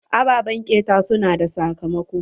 Ababen ƙeta su na da sakamako.